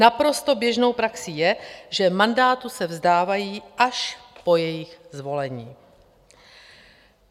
Naprosto běžnou praxí je, že mandátu se vzdávají až po jejich zvolení.